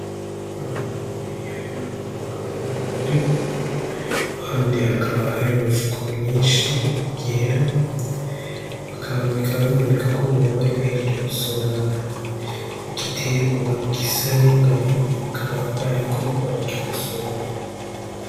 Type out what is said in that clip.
Abantu babiri harimwo umugabo n'umugore, iruhande hakaba hari imifuko myinshi yera, bikaba biboneka ko boba bari bahejeje gusoroma igiterwa gisa n'ingano, bakaba bariko barakigosora.